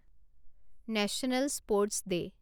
national sports day